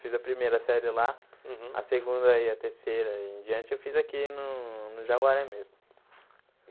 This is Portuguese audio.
Fiz a primeira série lá, uhum a segunda e a terceira e em diante eu fiz aqui no no Jaguaré mesmo.